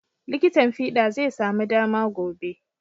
Likitin fiɗa zai samu dama gobe.